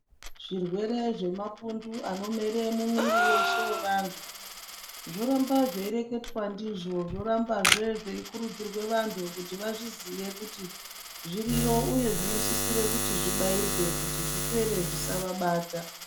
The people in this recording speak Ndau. Zvirwere zvemapundu anomere mumwiri weshe wevantu zvoramba zveireketwa ndizvo zvoramba zvee zveikurudzirwe vantu kuti vazviziye kuti zviriyo uye zvino sisire kuti zvibayirwe kuti zvipere zvisava bata.